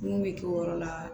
Mun bɛ kɛ o yɔrɔ la